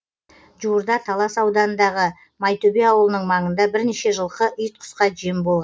жуырда талас ауданындағы майтөбе ауылының маңында бірнеше жылқы ит құсқа жем болған